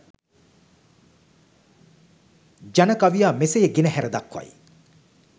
ජන කවියා මෙසේ ගෙනහැර දක්වයි.